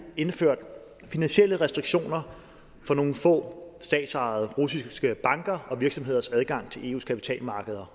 indført finansielle restriktioner for nogle få statsejede russiske bankers og virksomheders adgang til eus kapitalmarkeder